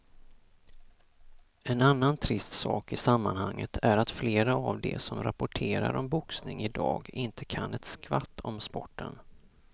En annan trist sak i sammanhanget är att flera av de som rapporterar om boxning i dag inte kan ett skvatt om sporten.